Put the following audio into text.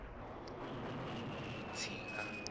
vhutsila